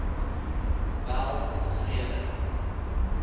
weltevrede